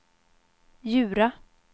Djura